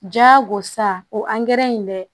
Jagosa o in bɛ